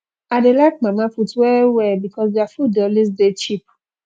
i dey like mamaput wellwell because their food dey always dey cheap